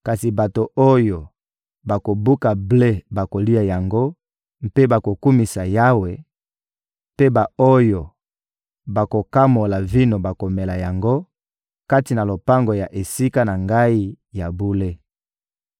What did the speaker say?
kasi bato oyo bakobuka ble bakolia yango mpe bakokumisa Yawe, mpe ba-oyo bakokamola vino bakomela yango kati na lopango ya Esika na Ngai ya bule.»